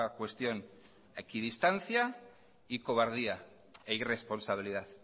cuestión equidistancia y cobardía e irresponsabilidad